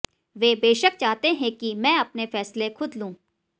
वे बेशक चाहते हैं कि मैं अपने फैसले खुद लूं